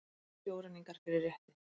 Sjóræningjar fyrir rétti